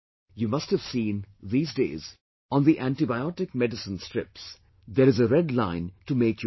You must have seen, these days, on the antibiotic medicine strips there is a red line to make you aware